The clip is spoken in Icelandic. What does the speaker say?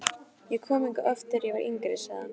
Ég kom hingað oft, þegar ég var yngri sagði hann.